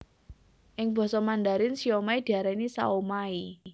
Ing basa Mandarin siomai diarani shaomai